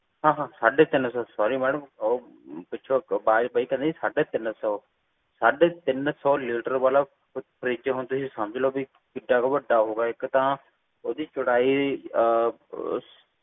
ਸਾਢੇ ਤਿੰਨ ਸੌ sorry ਮੈਡਮ ਸਾਢੇ ਤਿੰਨ ਸੌ ਲੀਟਰ ਆਲਾ ਹੁਣ ਤੁਸੀਂ ਸਮਝ ਲੋ ਬੀ ਕਿੱਦਾਂ ਕ ਵੱਡਾ ਹੋਊਗਾ ਇੱਕ ਤਾਂ ਓਹਦੀ ਚੌੜਾਈ ਆਹ